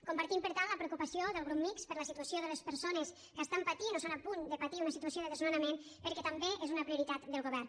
compartim per tant la preocupació del grup mixt per la situació de les persones que estan patint o són a punt de patir una situació de desnonament perquè també és una prioritat del govern